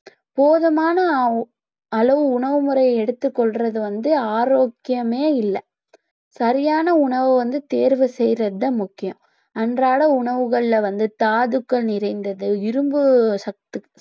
போதுமான அளவு உணவு முறைய எடுத்துக்கொள்றது வந்து ஆரோக்கியமே இல்ல சரியான உணவு வந்து தேர்வு செய்றது தான் முக்கியம் அன்றாட உணவுகள்ல வந்து தாதுக்கள் நிறைந்தது இரும்பு சத்து